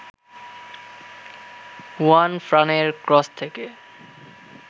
হুয়ানফ্রানের cross থেকে